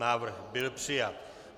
Návrh byl přijat.